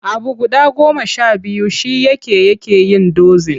Abu guda goma sha biyu shi yake yake yin dozin.